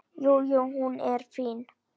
Jú, jú. hún er fín.